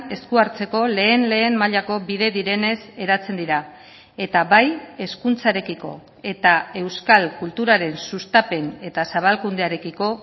esku hartzeko lehen lehen mailako bide direnez eratzen dira eta bai hezkuntzarekiko eta euskal kulturaren sustapen eta zabalkundearekiko